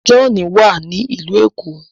John wá ní ilú ẹko.